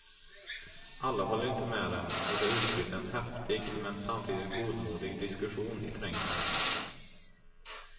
Alla håller inte med dem och det utbryter en häftig men samtidigt godmodig diskussion i trängseln.